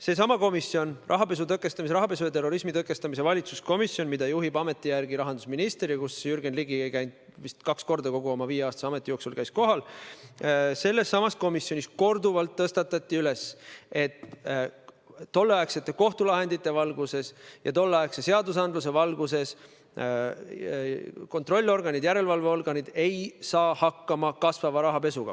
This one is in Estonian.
Seesama rahapesu ja terrorismi tõkestamise valitsuskomisjon, mida juhib ameti järgi rahandusminister ja kus Jürgen Ligi käis kohal vist kaks korda kogu oma viieaastase ametiaja jooksul – selles samas komisjonis tõsteti korduvalt üles, et tolleaegsete kohtulahendite ja tolleaegse seadusandluse valguses ei saa kontrollorganid, järelevalveorganid hakkama kasvava rahapesuga.